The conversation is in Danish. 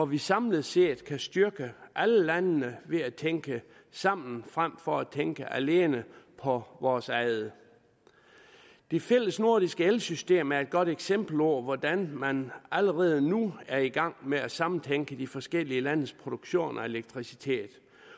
vi samlet set styrke alle landene ved at tænke sammen frem for at tænke alene på vores eget det fælles nordiske elsystem er et godt eksempel på hvordan man allerede nu er i gang med at samtænke de forskellige landes produktion af elektricitet